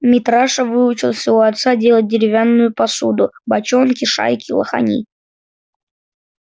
митраша выучился у отца делать деревянную посуду бочонки шайки лохани